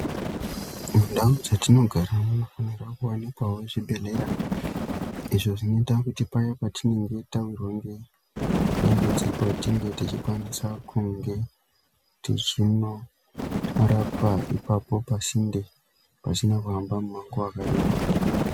Mundau dzatinogara mwaakuwanikawo zvibhedhlera izvo zvinoita kuti paya patinenge tawirwa ngedambudziko ratinge techikwanisa kunge tichinorapwa ipapo pasinde pasina kuhamba mumango wakareba.